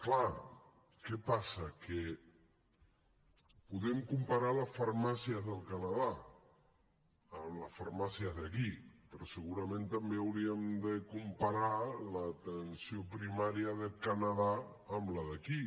clar què passa que podem comparar les farmàcies del canadà amb les farmàcies d’aquí però segurament també hauríem de comparar l’atenció primària del canadà amb la d’aquí